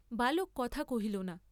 বালক কথা কহিল না।